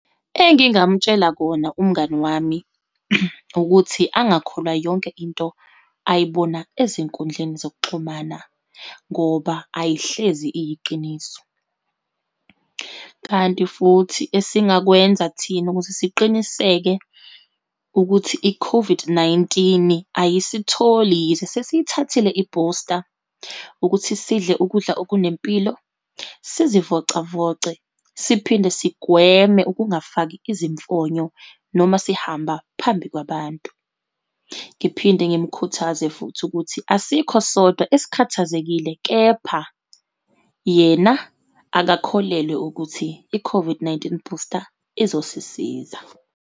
Engingamtshela kona umngani wami, ukuthi angakholwa yonke into ayibona ezinkundleni zokuxhumana, ngoba ayihlezi iyiqiniso. Kanti futhi esingakwenza thina ukuze siqiniseke ukuthi i-COVID-19, ayisitholi, yize sesiyithathile ibhusta, ukuthi sidle ukudla okunempilo, sizivocavoce, siphinde sigweme ukungafiki izimfonyo noma sihamba phambi kwabantu. Ngiphinde ngimkhuthaze futhi ukuthi asikho sodwa esikhathazekile, kepha yena akakholelwa ukuthi i-COVID-19 booster izosisiza.